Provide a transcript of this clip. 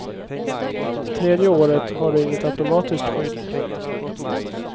Tredje året har du inget automatiskt skydd.